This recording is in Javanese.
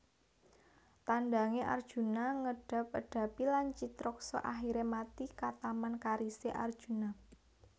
Tandange Arjuna Ngedab edapi lan Citraksa akhire mati kataman karise Arjuna